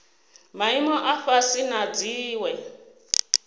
maimo a fhasi na dziwe